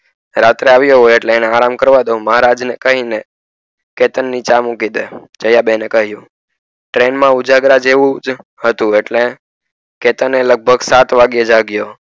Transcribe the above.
રાત્રે આવિયા આવિયા હોય એટલે એને આરામ કરવા દો મહારાજ ને કઈ ને ચેતન ની ચા મૂકી દે દયા બેને કહીંયુ train માં ઉજાગરા જેવું હતું એટલે ચેતન લગભગ સાત વાગે જાગિયો